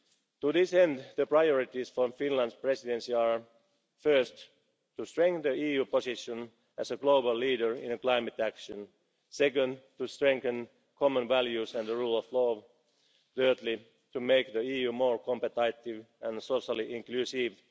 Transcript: To this end, the priorities for the Finnish Presidency are first, to strengthen the EU's position as a global leader in climate action second, to strengthen common values and the rule of law third, to make the EU more competitive and socially inclusive